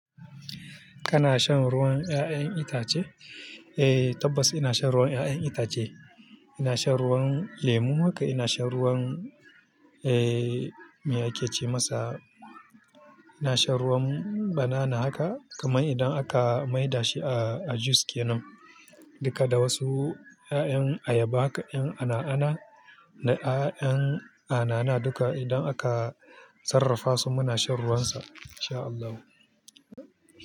Kana shan ruwan ƴaƴan itace? Eh tabbas ina shan ruwan ƴaƴan itace. Ina shan ruwan lemo haka, ina shan ruwan, eh, me ake ce masa? Ina shan ruwan banana haka, kamar idan aka mai da shi a, a juice kenan. Dukka da wasu ƴaƴan ayaba, ƴaƴan anaana da ƴaƴan anana duka idan aka sarrafa su muna shan ruwansa insha Allahu.